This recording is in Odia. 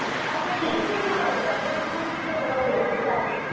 ସେ ଖୁସି ବି ଗୋଟେ ଅଲଗା ସେଦିନ ହିଁ ସେଟା test ଲାଗେ